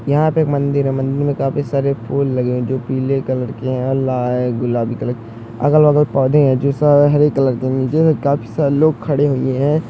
यहाँ पर मंदिर है। मंदिर में काफी सारे फूल लगे हैं जो पिले कलर के हैं और ला है गुलाबी कलर के अगल-बगल पौधे हैं जो स हरे कलर के हैं। नीचे में काफी सारे लोग खड़े हुए हैं।